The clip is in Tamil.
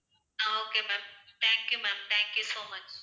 ah okay ma'am thank you ma'am thank you so much